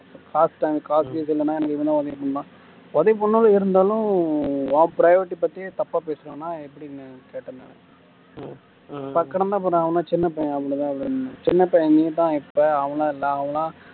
காசு தேவை காசு கீசு இல்லன்னா எனக்கு இவன் தான் உதவி பண்றான் உதவி பண்றான்னு இருந்தாலும் உன் private பத்தி தப்பா பேசுறனா எப்படிங்கன்னு கேட்டேன் நான் அவன் சின்ன பையன் அப்படித்தான் அப்படின்னான் சின்ன பையன் நீ தான் இருப்ப அவன் எல்லாம் இல்ல அவன் எல்லாம்